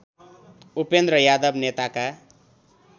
उपेन्द्र यादव नेताका